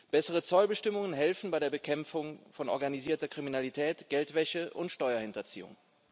Bessere Zollbestimmungen helfen bei der Bekämpfung von organisierter Kriminalität, Geldwäsche und Steuerhinterziehung.